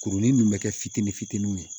Kurunin ninnu bɛ kɛ fitinin fitininw ye